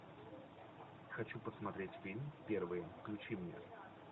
хочу посмотреть фильм первый включи мне